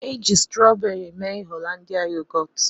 Eji strọọberị mee Holandịa yogọọt.